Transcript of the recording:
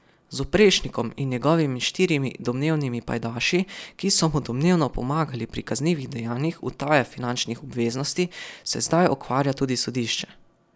Z Oprešnikom in njegovimi štirimi domnevnimi pajdaši, ki so mu domnevno pomagali pri kaznivih dejanjih utaje finančnih obveznosti, se zdaj ukvarja tudi sodišče.